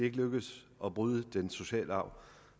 ikke lykkedes at bryde den sociale arv